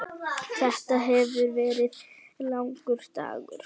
Þetta hefur verið langur dagur.